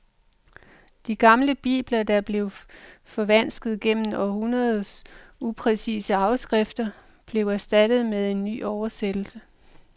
De gamle bibler, der var blevet forvansket gennem århundreders upræcise afskrifter, blev erstattet med en ny oversættelse.